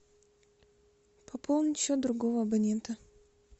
пополнить счет другого абонента